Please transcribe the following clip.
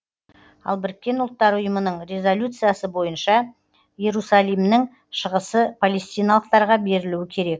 ал біріккен ұлттар ұйымының резолюциясы бойынша иерусалимнің шығысы палестиналықтарға берілуі керек